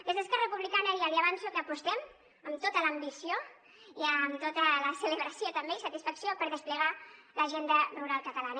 des d’esquerra republicana ja li avanço que apostem amb tota l’ambició i amb tota la celebració també i satisfacció per desplegar l’agenda rural catalana